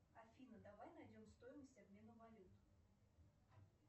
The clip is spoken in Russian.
афина давай найдем стоимость обмена валют